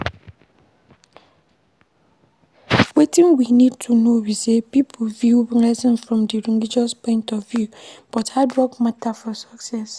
Wetin we need to know be say pipo view blessing from di religious point of view but hard work matter for success